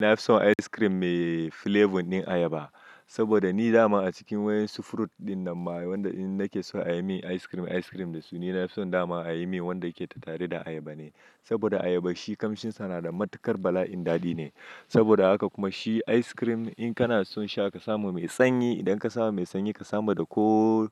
Ni na fi son ice cream mai flavor din ayaba. Saboda ni dama a cikin wayan sufurut dinnan ma wanda ina nake so a yi min ice cream, ice cream da su, ni na fi son dama a yi min wanda yake tare da ayaba ne. Saboda ayaba shi kamshinsa na da matuƙar bala'in daɗi ne. Saboda haka kuma shi ice cream in kana son sha ka samu mai sanyi, idan ka samu mai sanyi ka samu da ko